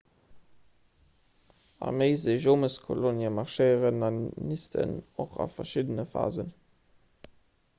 arméiseejomeskolonien marschéieren an nisten och a verschiddene phasen